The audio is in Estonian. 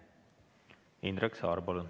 Indrek Saar, palun!